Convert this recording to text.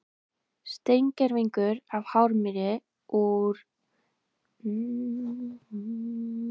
Steingervingur af hármýi úr setlögum í Mókollsdal í Kollafirði í Strandasýslu.